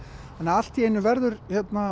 allt í einu verður